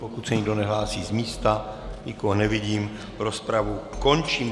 Pokud se nikdo nehlásí z místa, nikoho nevidím, rozpravu končím.